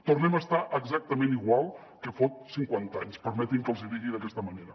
tornem a estar exactament igual que fot cinquanta anys permetin me que els hi digui d’aquesta manera